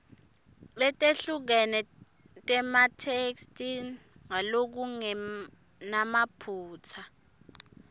letehlukene tematheksthi ngalokungenamaphutsa